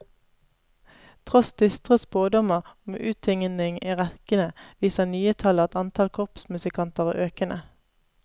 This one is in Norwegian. Tross dystre spådommer om uttynning i rekkene, viser nye tall at antall korpsmusikanter er økende.